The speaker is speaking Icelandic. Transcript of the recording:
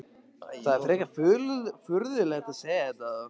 Það er frekar furðulegt að segja þetta þá?